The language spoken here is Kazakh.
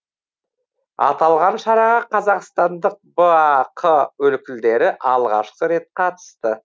аталған шараға қазақстандық бақ өлкілдері алғашқы рет қатысты